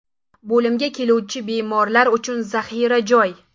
Bo‘limga keluvchi bemorlar uchun zaxira joy.